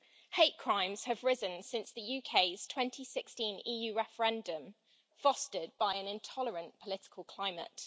Hate crimes have risen since the UK's 2016 EU referendum, fostered by an intolerant political climate.